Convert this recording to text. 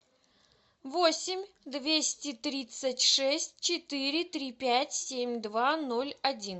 восемь двести тридцать шесть четыре три пять семь два ноль один